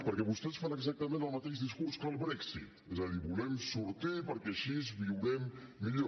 perquè vostès fan exactament el mateix discurs que el brexit és a dir en volem sortir perquè així viurem millor